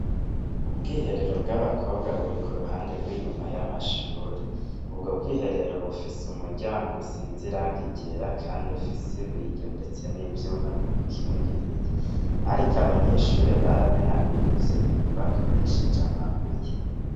Ubwiherero bw' abakobwa buri kuruhande gw' inyuma y' amashure ubwo bwiherero bufise umuryango usize irangi ryera kandi ufise ibiyo ndetse n' ivyuma bibikingiye ariko abanyeshure baramenaguye ivyo biyo bakoresheje amabuye.